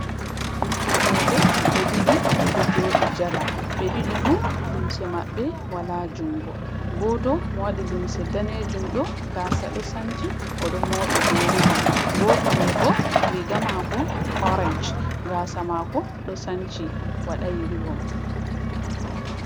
Ɓikoi roɓɓe ɓe ɗiɗi ɓe ɗo joɗi jala ɓe ɗiɗi fu lumse maɓɓe wala jungo, goto mo waɗi lumse danejum ɗo gaasa ɗo sanci oɗo moɓi be rivom, goto mai bo riga mako orance, gasa mako ɗo sanci waday rivom.